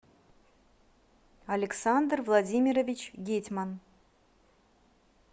александр владимирович гетьман